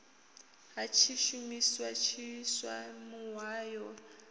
ha tshishumisa tshiswa muhayo na